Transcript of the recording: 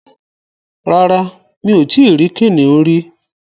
Rárá, Mi ò tí rí kìnìún rí